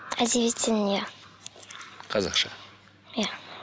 әдебиеттен иә қазақша иә